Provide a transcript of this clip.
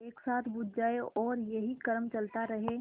एक साथ बुझ जाएँ और यही क्रम चलता रहे